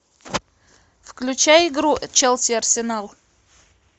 включай игру челси арсенал